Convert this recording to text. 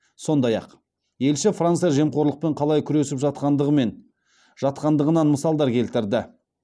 сондай ақ елші франция жемқорлықпен қалай күресіп жатқандығынан мысалдар келтірді